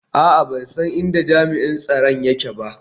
A'a, ban san inda jami'in tsaro yake ba